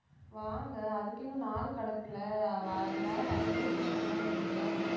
வாங்க அதுக்கு இன்னும் நாள் கிடக்குலே நேரம் வரும்போது கூப்பிடலான்னு இருந்தேன்